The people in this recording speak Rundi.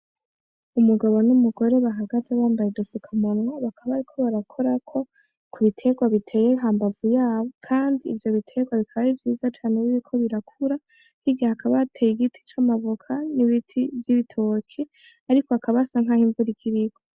Umugabo n'umugore bahagaze, bambaye udupfukamunwa, bakaba bariko barakorako ku biterwa biteye hambavu yaho kandi ivyo biterwa bikaba ari vyiza cane, biriko birakura, hirya hakaba hateye igiti c'amavoka n'ibiti vy'ibitoki ariko hakaba hasa nkaho imvura igira igwe.